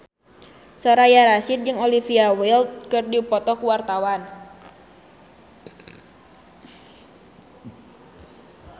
Soraya Rasyid jeung Olivia Wilde keur dipoto ku wartawan